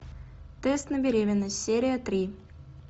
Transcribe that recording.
тест на беременность серия три